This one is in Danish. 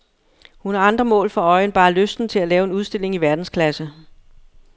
Hun har andre mål for øje end bare lysten til at lave en udstilling i verdensklasse.